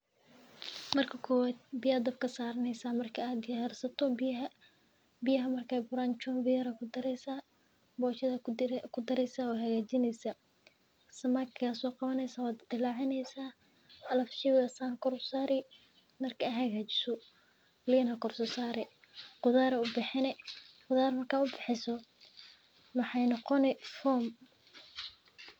Marki koowad biya aya dabka sareya chunbi aya kudareysa boshada aya kuridheysa kadib samaki aya soqadheysa alafu shower aya san usameynesa qudhar aya ubaxineysa kadib waa hagajinesa sas waye kabid waa hagajineysa.